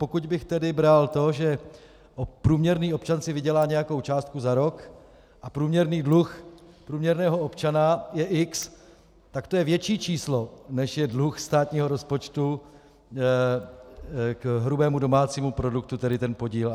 Pokud bych tedy bral to, že průměrný občan si vydělá nějakou částku za rok a průměrný dluh průměrného občana je x, takt to je větší číslo, než je dluh státního rozpočtu k hrubému domácímu produktu, tedy ten podíl.